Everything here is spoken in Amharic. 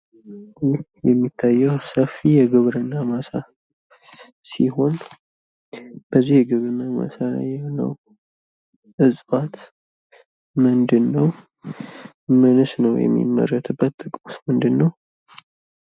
ይህ የሚታየው ዛፍ የግብርና ማሳ ሲሆን በዚህ የግብርና ማሳ ላይ ያለው ዕጽዋት ምንድን ነው? ምንስ ነው የሚመረትበት? ጥቅሙስ ምንድን ነው?